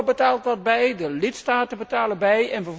Europa betaalt wat bij en de lidstaten betalen bij.